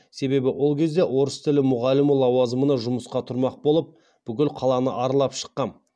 себебі ол кезде орыс тілі мұғалімі лауазымына жұмысқа тұрмақ болып бүкіл қаланы аралап шыққам